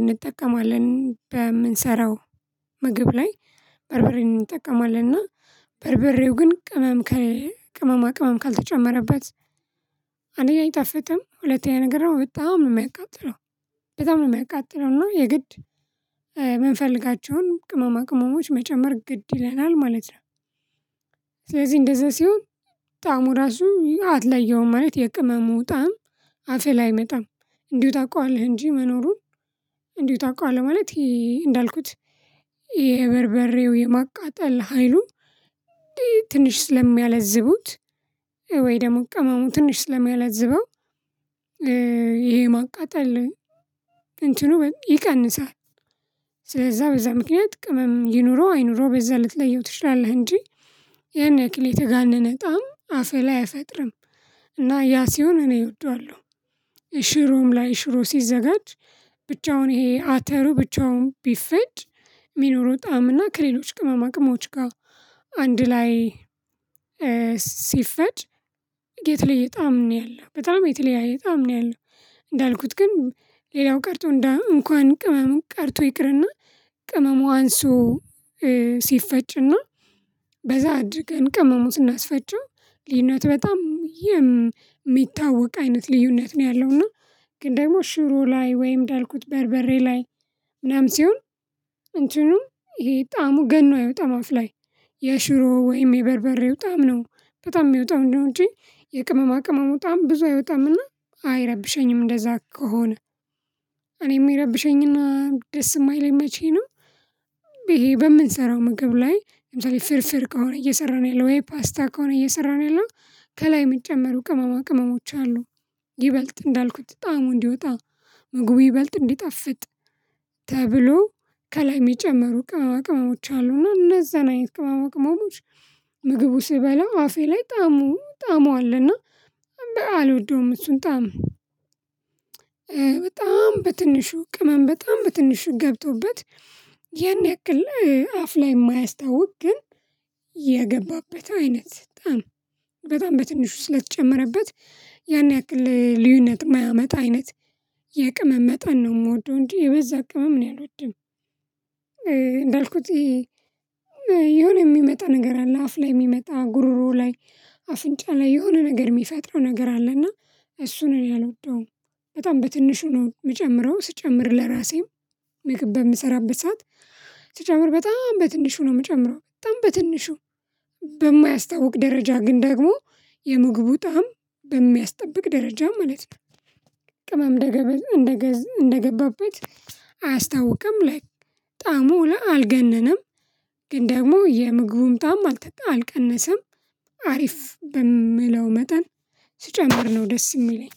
እንጠቀማለን በምንሰራው ምግብ ላይ በርበሬን እንጠቀማለንና በርበሬው ግን ቅመም ቅመማ ቅመም ካልተጨመረበት። አንደኛ አይጠፍጥም ሁለተኛ ነገር ነው በጣም ነው የማያቃጥለው በጣም ነው የማያቃጥለው እና የግድ የምንፈልጋቸውን ቅመማ ቅመሞች መጨመር ግድ ይለናል ማለት ነው። ስለዚህ እንደዛ ሲሆን ጣዕሙ ራሱ አትለየውም ማለት የቅመሙ ጣዕም አፌ ላይ አይመጣም። እንዲሁ ታውቃዋለህ እንጂ መኖሩን እንዲሁ ታውቃለህ ማለት እንዳልኩት የበርበሬው የማቃጠል ሀይሉ ትንሽ ስለሚያላዝቡት ወይ ደግሞ ቀመሙን ትንሽ ስለሚያላዝበው። ይሄ ማቃጠል ነው እንትኑ ይቀንሳል። ስለዛ በዛ ምክንያት ቅመም ይኑረው አይኑረው በዛ ልትለየው ትችላለህ እንጂ ያን ያክል የተጋነነ ጣዕም አፈ ላይ አይፈጥርም። እና ያ ሲሆን እኔ እወደዋለሁ። ሺሮም ላይ ሽሮ ሲዘጋጅ ብቻውን ይሄ አተሩ ብቻውን ቢፈጭ የሚኖረው ጣዕም እና ከሌሎች ቅመማ ቅመሞች ጋር አንድ ላይ ሲፈጭ የተለየ ጣዕም ነው ያለው በጣም የተለያየ ጣዕም ነው ያለው። እንዳልኩት ግን ሌላው ቀርቶ እንኳን ቅመም ቀርቶ ይቅርና ቅመሙ አንሱ ሲፈጭና በዛ አድርገን ቅመሙን ስናስፈጨው ልዩነት በጣም የሚታወቅ አይነት ልዩነት ነው ያለው። እና ግን ደግሞ ሽሩ ላይ ወይም እንዳልኩት በርበሬ ላይ ምናምን ሲሆን እንትኑ ይሄ ጣዕሙ ገኖ አይወጣም አፍ ላይ። የሽሮ ወይም የበርበሬው ጣዕም ነው በጣም የሚወጣ ነው እንደ እንጂ የቅመማ ቅመሙ ጣዕም ብዙ አይወጣምና አይረብሸኝም። እንደዛ ከሆነ እኔም የሚረብሸኝና ደስ የማይለኝ መቼ ነው? ይሄ በምንሰራው ምግብ ላይ ለምሳሌ ፍርፍር ከሆነ እየሰራን ያለው ወይ ፓስታ ከሆነ እየሰራን ያለው ከላይ የምጨመሩ ቅመማ ቅመሞች አሉ። ይበልጥ እንዳልኩት ጣዕሙ እንዲወጣ ምግቡ ይበልጥ እንዲጠፍጥ ተብሎ ከላይ የሚጨመሩ ቅመማ ቅመሞች አሉ እነዛን አይነት ቅመመ ቅመሞች። ምግቡ ሲበላው አፌ ላይ ጣዕሙ ጣዕሙ አለና አልወደውም። እሱን ጣዕም በጣም በትንሹ ቅመም በጣም በትንሹ ገብቶበት። ያን ያክል አፍ ላይ የማያስታውቅ ግን የገባበት አይነት ጣዕም ጣዕም በጣም በትንሹ ስለተጨመረበት ያን ያክል ልዩነት ማያመጣ አይነት። የቅመም መጠን ነው የምወደው እንጂ የበዛ ቅመም እኔ አልወድም። እንደልኩት የሆነ የሚመጣ ነገር አለ አፍ ላይ የሚመጣ ጉርሮ ላይ አፍንጫ ላይ የሆነ ነገር የሚፈጥረው ነገር አለና። እሱን እኔ አልወደውም። በጣም በትንሹ ነው የምጨምረው ስጨምር ለራሴም ምግብ በምሰራበት ሰዓት ስጨምር በጣም በትንሹ ነው የምጨምረው በጣም በትንሹ በማያስታውቅ ደረጃ ግን ደግሞ የምግቡ ጣዕም በሚያስጠብቅ ደረጃ ማለት ነው። ቅመም ደገበዝ እንደገበዝ እንደገበበት አያስታውቅም ላይ ጣዕሙ ላ አልገነነም። ግን ደግሞ የምግቡን ጣዕም አልቀነሰም። አሪፍ በምለው መጠን ስጨምር ነው ደስ የሚለኝ።